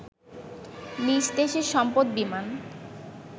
নিজ দেশের সম্পদ বিমান